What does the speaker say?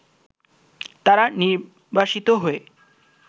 তারা নির্বাসিত হয়ে